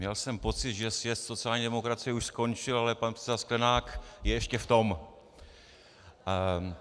Měl jsem pocit, že sjezd sociální demokracie už skončil, ale pan předseda Sklenák je ještě v tom.